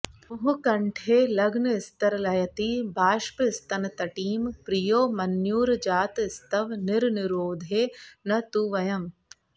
मुहुः कण्ठे लग्नस्तरलयति बाष्पस्तनतटीं प्रियो मन्युर्जातस्तव निरनुरोधे न तु वयम्